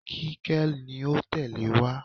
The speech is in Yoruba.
Kíkẹ́ ni ó tẹ̀lé wá.